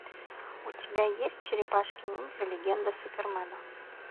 у тебя есть черепашки ниндзя легенда супермена